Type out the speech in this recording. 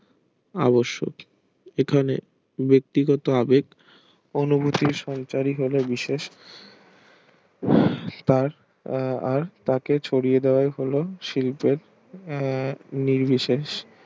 আবাসিক এখানে ব্যাক্তিগত আবেগ অনুভূতি সঞ্চারী হলো বিশেষ তার আর তাকে ছড়িয়ে দাওয়া হলো শিল্প আহ নির্বিশেষ